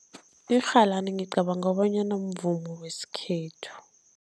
Irhalani ngicabanga bonyana mvumo wesikhethu.